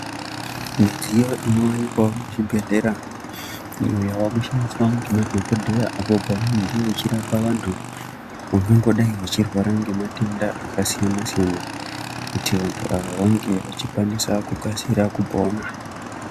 Midziyo inowanikwa muzvibhehkera iyo inoshandiswa nemadhokodheya apo pavanenge vachirapa vantu vangangodai vechirwara nematenda akasiyana siyana kuti vantu ava vange vachikasira kupona.